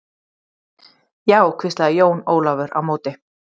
Já, hvíslaði Jón Ólafur á móti.